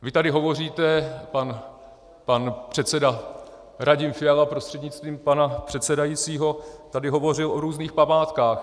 Vy tady hovoříte, pan předseda Radim Fiala prostřednictvím pana předsedajícího tady hovořil o různých památkách.